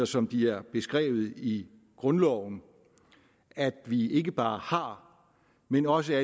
som de er beskrevet i grundloven at vi ikke bare har men også